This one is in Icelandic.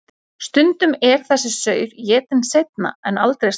Stundum er þessi saur étinn seinna en aldrei strax.